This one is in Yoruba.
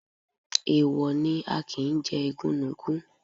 Èèwọ̀ ni, a kì ń jẹ igúnnugún.